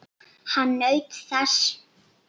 Hann naut þess.